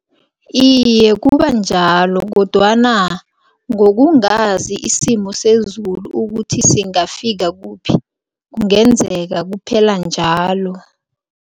Iye, kubanjalo kodwana ngokungazi isimo sezulu ukuthi singafika kuphi, kungenzeka kuphela njalo.